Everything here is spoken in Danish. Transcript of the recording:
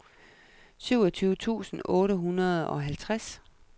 syvogtyve tusind otte hundrede og halvtreds